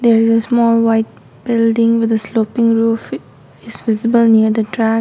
there is a small white building with a sloppy roof is visible near the .]